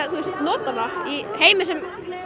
nota hana í heimi sem